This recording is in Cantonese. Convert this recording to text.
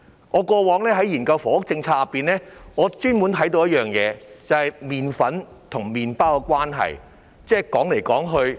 我過往在研究房屋政策時，特別留意到麵粉與麵包的關係。